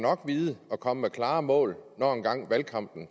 vide at komme med klare mål når engang valgkampen